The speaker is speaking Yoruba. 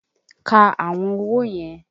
Ka àwọn owó yẹn!